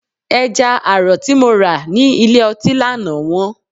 Ẹja àrọ̀ tí mo rà ní ilé ọtí lánàá wọ́n.